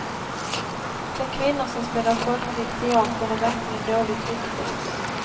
De kvinnor som spelar folklig teater har verkligen dåligt rykte.